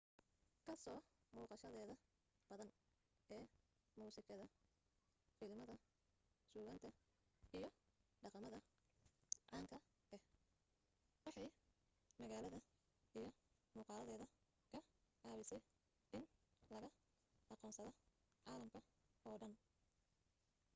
ka soo muuqashadeeda badan ee muusikada filimada suugaanta iyo dhaqamada caanka ah waxay magaalada iyo muuqaaladeeda ka caawisay in laga aqoonsada caalamka oo dhan